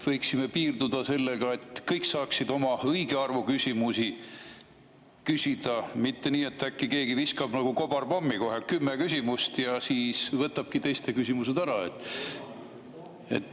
Võiksime piirduda sellega, et kõik saaksid õige arvu küsimusi küsida, mitte nii, et keegi viskab nagu kobarpommi kohe kümme küsimust ja võtabki teiste küsimused ära.